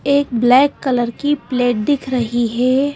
एक black colour की plate दिख रही हे ।